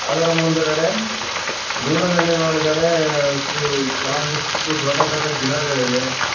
ಅದರ ಮುಂದ್ಗಡೆ ದೂರದಲ್ಲಿ ನೋಡಿದರೆ ಸು ಕೆಲವಂದಿಷ್ಟು ಗಿಡಗಳಿವೆ.